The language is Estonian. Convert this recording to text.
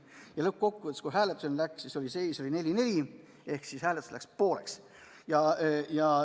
Igal juhul, kui hääletuseks läks, siis oli seis 4 : 4 ehk hääled jagunesid pooleks.